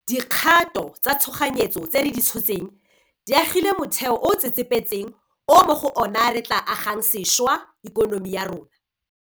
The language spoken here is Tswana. Dikgato tsa tshoganyetso tse re di tshotseng di agile motheo o o tsetsepetseng o mo go ona re tla agang sešwa ikonomi ya rona.